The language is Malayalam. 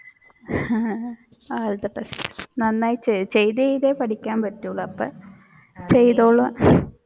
ചെയ്തു ചെയ്തേ പഠിക്കാൻ പറ്റുകയുള്ളു അപ്പൊ ചെയ്തോളു